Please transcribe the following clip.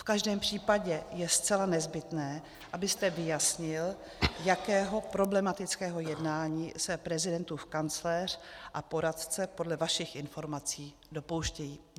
V každém případě je zcela nezbytné, abyste vyjasnil, jakého problematického jednání se prezidentův kancléř a poradce podle vašich informací dopouštějí.